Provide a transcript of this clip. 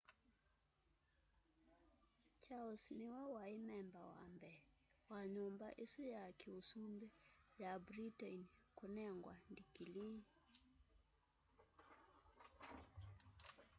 charles niwe wai memba wa mbee wa nyumba isu ya kiusumbi ya britain kunengwa ndikilii